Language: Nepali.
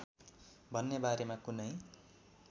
भन्ने बारेमा कुनै